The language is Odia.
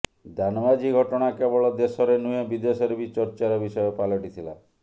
ଦାନ ମାଝି ଘଟଣା କେବଳ ଦେଶରେ ନୁହେଁ ବିଦେଶରେ ବି ଚର୍ଚ୍ଚାର ବିଷୟ ପାଲଟିଥିଲା